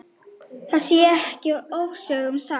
Það sé ekki ofsögum sagt.